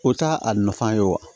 O t'a a nafa ye wa